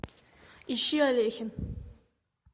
ищи алехин